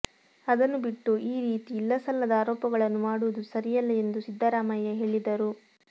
ಅದನ್ನು ಬಿಟ್ಟು ಈ ರೀತಿ ಇಲ್ಲಸಲ್ಲದ ಆರೋಪಗಳನ್ನು ಮಾಡುವುದು ಸರಿಯಲ್ಲ ಎಂದು ಸಿದ್ದರಾಮಯ್ಯ ಹೇಳಿದರು